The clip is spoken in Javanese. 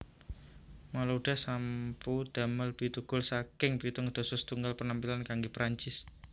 Malouda sampu damel pitu gol saking pitung dasa setunggal penampilan kanggé Perancis